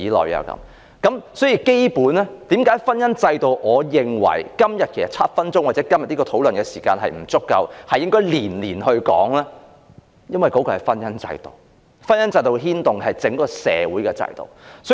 我認為，要討論基本婚姻制度，今天的7分鐘發言時間或今天的討論時間並不足夠，應該每年皆提出來討論一次，因為婚姻制度可牽動整個社會的制度。